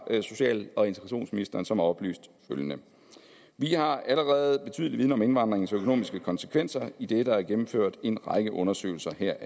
social og integrationsministeren som har oplyst følgende vi har allerede betydelig viden om indvandringens økonomiske konsekvenser idet der er gennemført en række undersøgelser heraf